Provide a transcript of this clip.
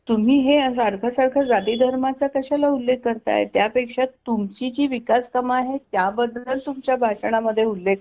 तुम्ही हे सारखं सारखं जाती धर्माचा कशाला उल्लेख कारताय त्यापेक्षा तुमची जी विकास काम आहे त्या बद्दल तुमच्या भाषण मध्ये उल्लेख